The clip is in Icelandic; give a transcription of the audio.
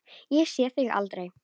Ég sé þig aldrei.